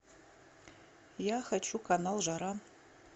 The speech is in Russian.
я хочу канал жара